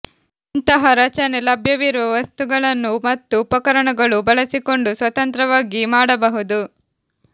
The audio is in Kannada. ಇಂತಹ ರಚನೆ ಲಭ್ಯವಿರುವ ವಸ್ತುಗಳನ್ನು ಮತ್ತು ಉಪಕರಣಗಳು ಬಳಸಿಕೊಂಡು ಸ್ವತಂತ್ರವಾಗಿ ಮಾಡಬಹುದು